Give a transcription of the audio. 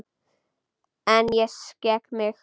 En ég skek mig.